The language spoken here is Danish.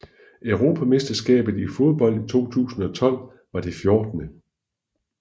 Europamesterskabet i fodbold 2012 var det 14